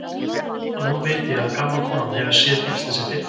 Og nú veit ég að gamla konan hefur séð bílslysið fyrir.